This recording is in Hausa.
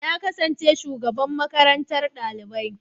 Na kasance shugaban makaranta ɗalibai.